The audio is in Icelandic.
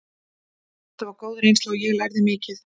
Þetta var góð reynsla og ég lærði mikið.